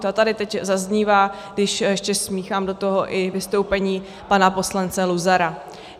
To tady teď zaznívá, když ještě smíchám do toho i vystoupení pana poslance Luzara.